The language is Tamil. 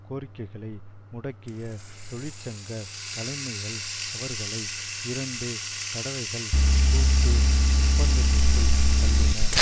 கோரிக்கைகளை முடக்கிய தொழிற்சங்க தலைமைகள் அவர்களை இரண்டு தடவைகள் கூட்டு ஒப்பந்தத்துக்குள் தள்ளின